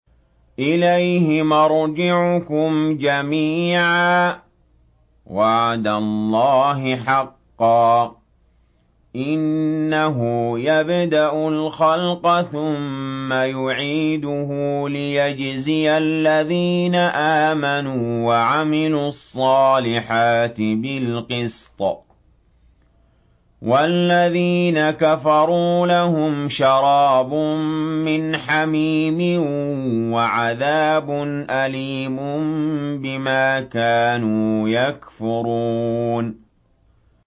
إِلَيْهِ مَرْجِعُكُمْ جَمِيعًا ۖ وَعْدَ اللَّهِ حَقًّا ۚ إِنَّهُ يَبْدَأُ الْخَلْقَ ثُمَّ يُعِيدُهُ لِيَجْزِيَ الَّذِينَ آمَنُوا وَعَمِلُوا الصَّالِحَاتِ بِالْقِسْطِ ۚ وَالَّذِينَ كَفَرُوا لَهُمْ شَرَابٌ مِّنْ حَمِيمٍ وَعَذَابٌ أَلِيمٌ بِمَا كَانُوا يَكْفُرُونَ